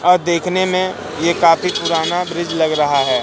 अ देखने में ये काफी पुराना ब्रिज लग रहा है।